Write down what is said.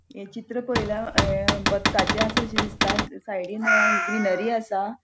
ये चित्र पळयल्यार अ बतकाचे आसाशे दिसता साइडीन अ ग्रीनरी आसा.